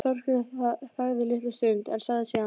Þórkell þagði litla stund en sagði síðan